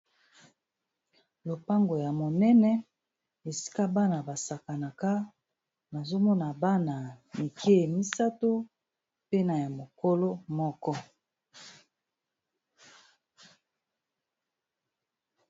lopango ya monene esika bana basakanaka nazomona bana ya mike misato mpena ya mokolo moko